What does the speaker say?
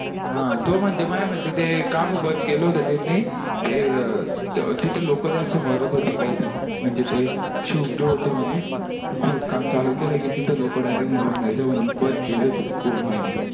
हा तो म्हणजे माझ्या माती ते का बर बंद केला होता त्यांनी ते तिथे लोक जास्त मारत होते काही तरी म्हणजे ते क्षुब्ड होता म्हणे ते खिदकाम चालू केला की तिथे लोक direct मारून जायचे म्हणून बंद केली होती ते coal mining